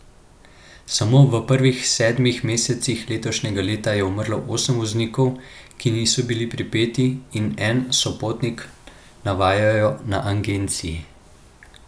Samo v prvih sedmih mesecih letošnjega leta je umrlo osem voznikov, ki niso bili pripeti, in en sopotnik, navajajo na agenciji.